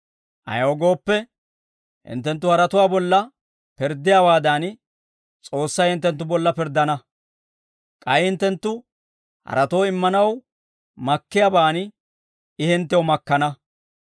Ayaw gooppe, hinttenttu haratuwaa bolla pirddiyaawaadan, S'oossay hinttenttu bolla pirddana; k'ay hinttenttu haratoo immanaw makkiyaabaan I hinttew makkana.